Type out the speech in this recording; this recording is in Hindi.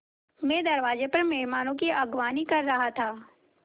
मैं दरवाज़े पर मेहमानों की अगवानी कर रहा था